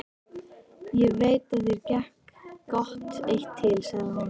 Ég veit að þér gekk gott eitt til, sagði hún.